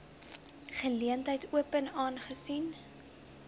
geleentheid open aangesien